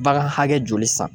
Bagan hakɛ joli san.